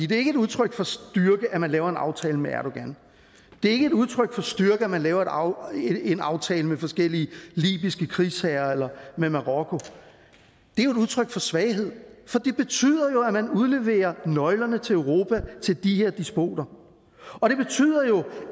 det er ikke et udtryk for styrke at man laver en aftale med erdogan det er ikke et udtryk for styrke at man laver en aftale med forskellige libyske krigsherrer eller med marokko det er jo et udtryk for svaghed for det betyder at man udleverer nøglerne til europa til de her despoter og det betyder jo